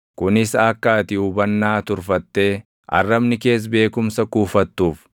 kunis akka ati hubannaa turfattee arrabni kees beekumsa kuufattuuf.